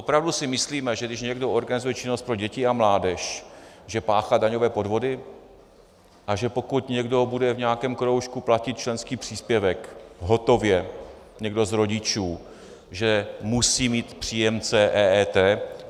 Opravdu si myslíme, že když někdo organizuje činnost pro děti a mládež, že páchá daňové podvody, a že pokud někdo bude v nějakém kroužku platit členský příspěvek hotově, někdo z rodičů, že musí mít příjemce EET?